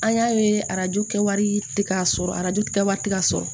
An y'a ye arajo kɛwari tɛ ka sɔrɔ arajo kɛ wari tɛ ka sɔrɔ